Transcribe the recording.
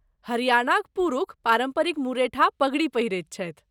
हरियाणाक पुरूष पारम्परिक मुरेठा, पगड़ी पहिरैत छथि।